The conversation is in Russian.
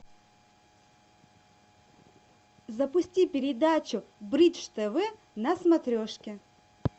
запусти передачу бридж тв на смотрешке